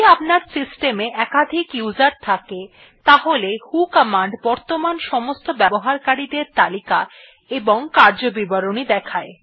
যদি আপনার সিস্টম এ একাধিক উসের থাকে তাহলে ভো কমান্ড বর্তমান সমস্ত ব্যবহারকারী দের তালিকা এবং কার্যবিবরণী দেখায়